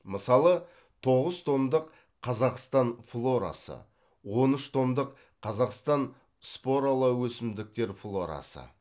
мысалы тоғыз томдық қазақстан флорасы он үш томдық қазақстанның споралы өсімдіктер флорасы